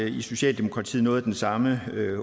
i socialdemokratiet noget af den samme